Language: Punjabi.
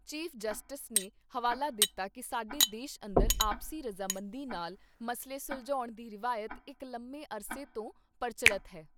ਚੀਫ ਜਸਟਿਸ ਨੇ ਹਵਾਲਾ ਦਿੱਤਾ ਕਿ ਸਾਡੇ ਦੇਸ਼ ਅੰਦਰ ਆਪਸੀ ਰਜਾਮੰਦੀ ਨਾਲ ਮਸਲੇ ਸੁਲਝਾਉਣ ਦੀ ਰਿਵਾਇਤ ਇਕ ਲੰਮੇ ਅਰਸੇ ਤੋਂ ਪਰਚੱਲਤ ਹੈ।